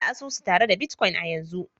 Bude asusu tare da bitcoin a yanzu